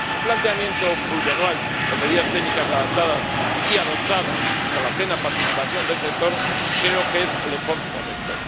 Un planteamiento plurianual con medidas técnicas adaptadas y adoptadas con la plena participación del sector creo que es el enfoque correcto.